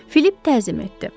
Philip təzim etdi.